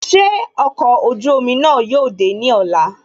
Ṣé ọkọ̀ ojú omi náà yóò dé ní ọ̀la